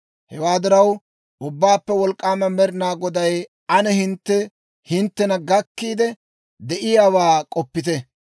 Hewaa diraw, Ubbaappe Wolk'k'aama Med'inaa Goday, «Ane hintte hinttena gakkiidde de'iyaawaa k'oppite.